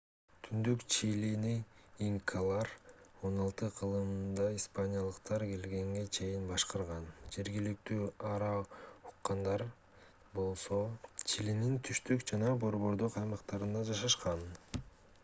түндүк чилини инкалар 16-кылымда испаниялыктар келгенге чейин башкарган жергиликтүү араукандар мапухе болсо чилинин түштүк жана борбордук аймактарында жашашкан